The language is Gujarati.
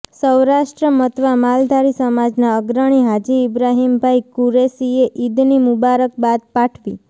સૌરાષ્ટ્ર મતવા માલધારી સમાજના અગ્રણી હાજી ઈબ્રાહીમભાઈ કુરેશીએ ઈદની મુબારક બાદ પાઠવી